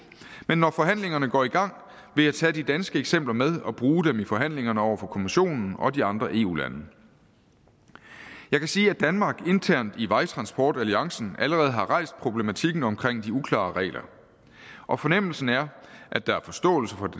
men når forhandlingerne går i gang vil jeg tage de danske eksempler med og bruge dem i forhandlingerne over for kommissionen og de andre eu lande jeg kan sige at danmark internt i vejtransportalliancen allerede har rejst problematikken omkring de uklare regler og fornemmelsen er at der er forståelse for